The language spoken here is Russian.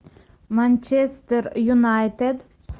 манчестер юнайтед